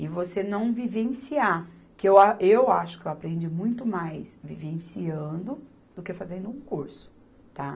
e você não vivenciar, que eu a, eu acho que eu aprendi muito mais vivenciando do que fazendo um curso, tá?